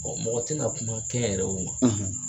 mɔgɔ tina kuma kɛ n yɛrɛ yew ma